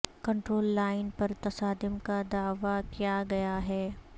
control line پر تصادم کا دعوی کیا گیا ہے